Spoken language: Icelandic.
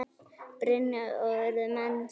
Brynja: Og urðu menn smeykir?